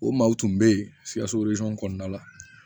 O maaw tun bɛ yen sikaso kɔnɔna la